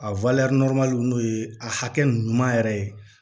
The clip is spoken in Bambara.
A n'o ye a hakɛ ɲuman yɛrɛ ye